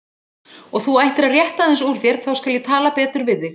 Og þú ættir að rétta aðeins úr þér, þá skal ég tala betur við þig.